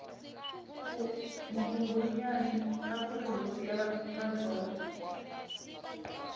nghunghunyani akuri hosi ya matsonga